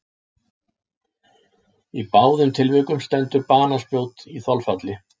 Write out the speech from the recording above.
Í báðum tilvikum stendur banaspjót í þolfalli.